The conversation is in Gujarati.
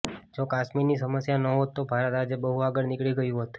જો કાશ્મીરની સમસ્યા નહોત તો ભારત આજે બહુ આગળ નીકળી ગયું હોત